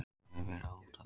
Mér hefur verið hótað